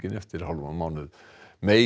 eftir hálfan mánuð